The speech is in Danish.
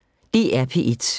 DR P1